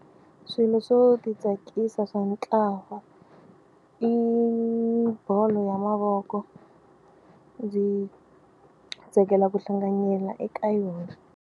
Swilo swo titsakisa swa ntlawa i bolo ya mavoko ndzi tsakela ku hlanganyela eka yona.